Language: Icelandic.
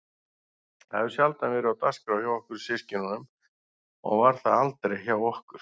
Það hefur sjaldan verið á dagskrá hjá okkur systkinunum og var það aldrei hjá okkur